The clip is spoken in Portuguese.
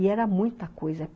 E era muita coisa.